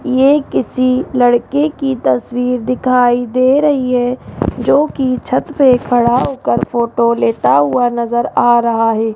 ये किसी लड़के की तस्वीर दिखाई दे रही है जो की छत पे खड़ा होकर फोटो लेता हुआ नजर आ रहा है।